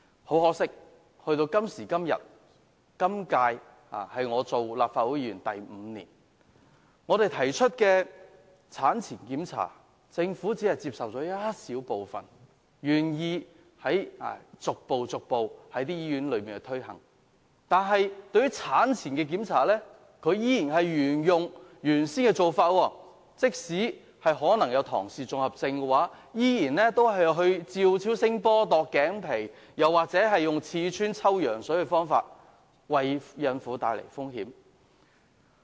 很可惜，今年是我第五年擔任立法會議員，但我們提出的產前檢查建議，政府只接受了當中一小部分，逐步在醫院推行，但卻仍源用之前的做法，例如檢驗胎兒是否患有唐氏綜合症，仍然使用照超聲波、度頸皮或刺穿抽羊水的方法，為孕婦帶來風險。